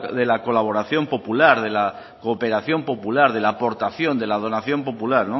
de la colaboración popular de la cooperación popular de la aportación y de la donación popular